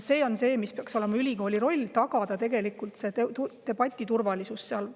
Ülikooli roll peaks olema tagada seal debati turvalisus.